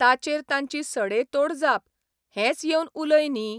ताचेर तांची सडेतोड जापः 'हेंच येवन उलय न्ही.